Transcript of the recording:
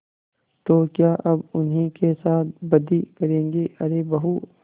तो क्या अब उन्हीं के साथ बदी करेंगे अरे बहू